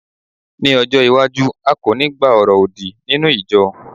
ní ọjọ iwaju, a ko ni gba oro odi ninu ijọ